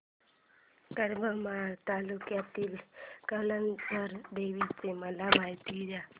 करमाळा तालुक्यातील कमलजा देवीची मला माहिती दे